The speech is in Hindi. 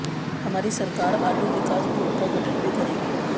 हमारी सरकार आलू विकास बोर्ड का गठन भी करेगी